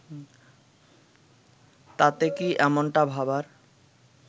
তাতে কি এমনটা ভাবার